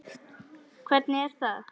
Hvernig er það?